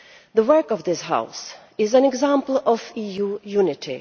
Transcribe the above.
The work of this House is an example of EU unity.